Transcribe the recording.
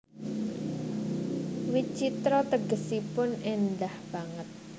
Witjitra tegesipun éndah banget